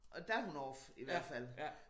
Og der hun off i hvert fald